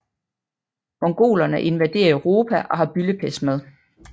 Mongolerne invaderer Europa og har byldepest med